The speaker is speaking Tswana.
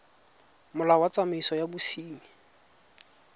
molao wa tsamaiso ya bosenyi